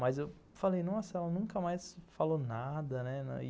Mas eu falei, nossa, ela nunca mais falou nada, né?